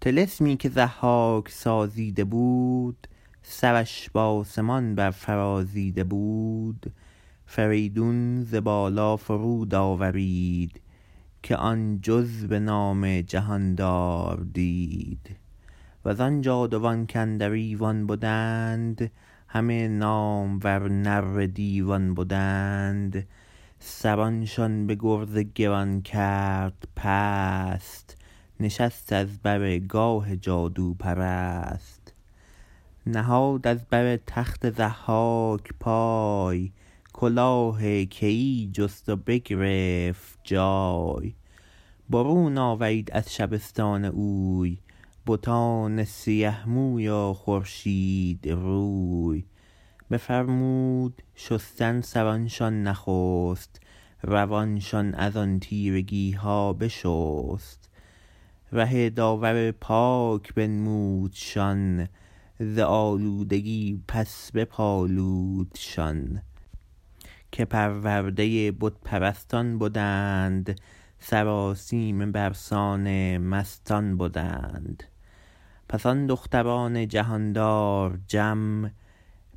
طلسمی که ضحاک سازیده بود سرش به آسمان بر فرازیده بود فریدون ز بالا فرود آورید که آن جز به نام جهاندار دید و زآن جادوان کاندر ایوان بدند همه نامور نره دیوان بدند سرانشان به گرز گران کرد پست نشست از بر گاه جادوپرست نهاد از بر تخت ضحاک پای کلاه کیی جست و بگرفت جای برون آورید از شبستان اوی بتان سیه موی و خورشید روی بفرمود شستن سرانشان نخست روانشان از آن تیرگی ها بشست ره داور پاک بنمودشان ز آلودگی پس بپالودشان که پرورده بت پرستان بدند سرآسیمه بر سان مستان بدند پس آن دختران جهاندار جم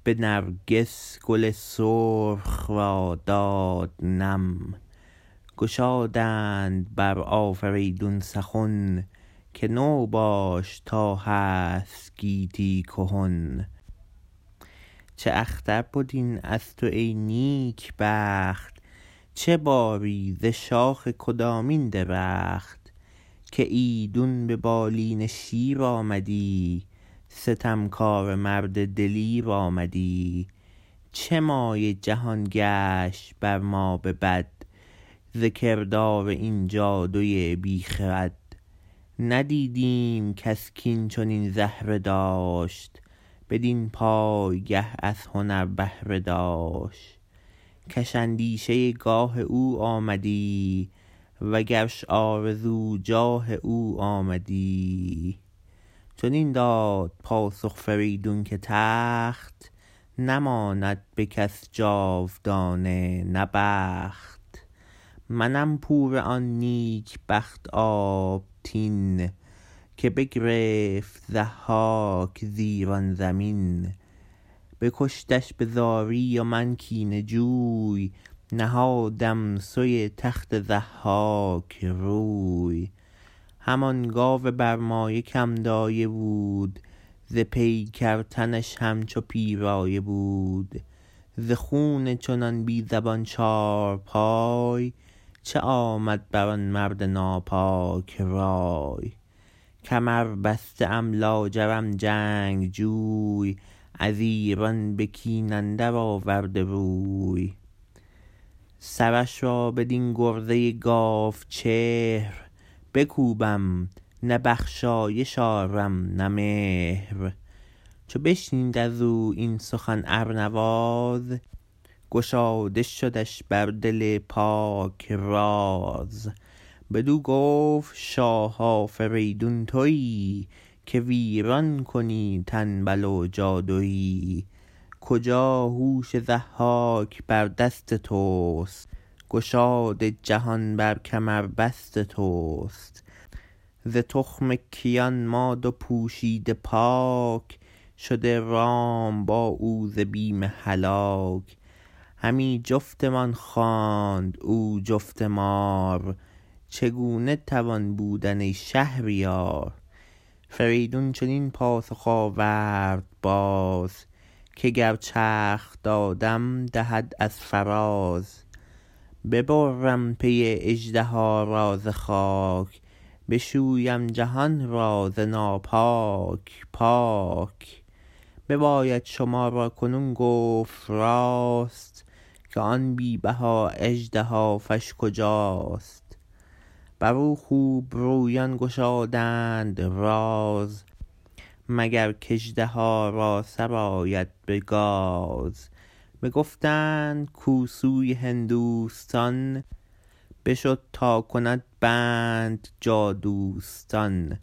به نرگس گل سرخ را داده نم گشادند بر آفریدون سخن که تو باش تا هست گیتی کهن چه اختر بد این از تو ای نیک بخت چه باری ز شاخ کدامین درخت که ایدون به بالین شیر آمدی ستمکاره مرد دلیر آمدی چه مایه جهان گشت بر ما به بد ز کردار این جادوی بی خرد ندیدیم کس کاین چنین زهره داشت بدین پایگه از هنر بهره داشت کش اندیشه گاه او آمدی و گرش آرزو جاه او آمدی چنین داد پاسخ فریدون که تخت نماند به کس جاودانه نه بخت منم پور آن نیک بخت آبتین که بگرفت ضحاک ز ایران زمین بکشتش به زاری و من کینه جوی نهادم سوی تخت ضحاک روی همان گاو برمایه که م دایه بود ز پیکر تنش همچو پیرایه بود ز خون چنان بی زبان چارپای چه آمد بر آن مرد ناپاک رای کمر بسته ام لاجرم جنگجوی از ایران به کین اندر آورده روی سرش را بدین گرزه گاو چهر بکوبم نه بخشایش آرم نه مهر چو بشنید از او این سخن ارنواز گشاده شدش بر دل پاک راز بدو گفت شاه آفریدون تویی که ویران کنی تنبل و جادویی کجا هوش ضحاک بر دست تست گشاد جهان بر کمربست تست ز تخم کیان ما دو پوشیده پاک شده رام با او ز بیم هلاک همی جفتمان خواند او جفت مار چگونه توان بودن ای شهریار فریدون چنین پاسخ آورد باز که گر چرخ دادم دهد از فراز ببرم پی اژدها را ز خاک بشویم جهان را ز ناپاک پاک بباید شما را کنون گفت راست که آن بی بها اژدهافش کجاست بر او خوب رویان گشادند راز مگر کاژدها را سر آید به گاز بگفتند کاو سوی هندوستان بشد تا کند بند جادوستان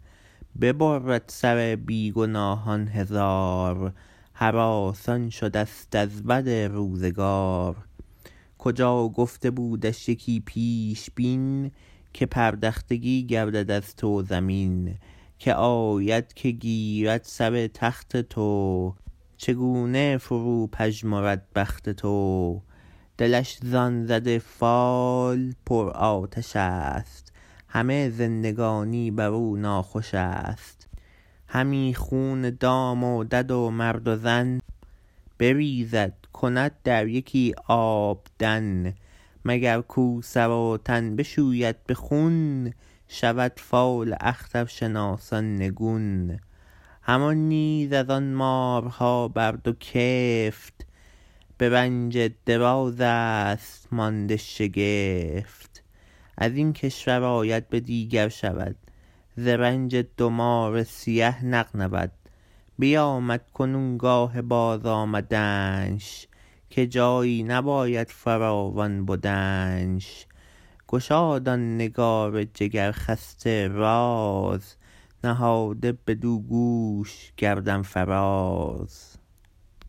ببرد سر بی گناهان هزار هراسان شده ست از بد روزگار کجا گفته بودش یکی پیشبین که پردختگی گردد از تو زمین که آید که گیرد سر تخت تو چگونه فرو پژمرد بخت تو دلش زآن زده فال پر آتش است همه زندگانی بر او ناخوش است همی خون دام و دد و مرد و زن بریزد کند در یکی آبدن مگر کاو سر و تن بشوید به خون شود فال اخترشناسان نگون همان نیز از آن مارها بر دو کفت به رنج دراز است مانده شگفت از این کشور آید به دیگر شود ز رنج دو مار سیه نغنود بیامد کنون گاه بازآمدنش که جایی نباید فراوان بدنش گشاد آن نگار جگر خسته راز نهاده بدو گوش گردن فراز